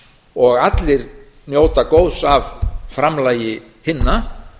og allir njóta góðs af framlagi hinna